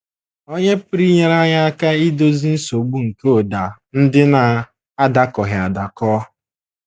Ònye pụrụ inyere anyị aka idozi nsogbu nke ụda ndị na - adakọghị adakọ?